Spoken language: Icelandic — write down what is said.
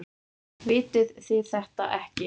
Vitið þið þetta ekki?